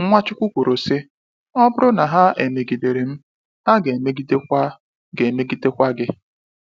Nwachukwu kwuru sị: “Ọ bụrụ na ha emegidere m, ha ga emegide kwa ga emegide kwa gị.